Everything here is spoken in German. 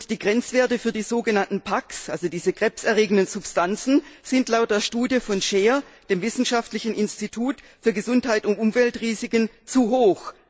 Die Grenzwerte für die sogenannten PAK, also die krebserregenden Substanzen, sind laut der Studie von SCHER, dem wissenschaftlichen Ausschuss für Gesundheit und Umweltrisiken, zu hoch.